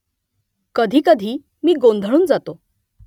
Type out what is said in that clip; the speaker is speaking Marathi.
कधीकधी मी गोंधळून जातो